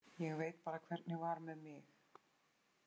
Ég veit bara hvernig var með mig.